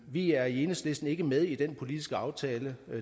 vi er i enhedslisten ikke med i den politiske aftale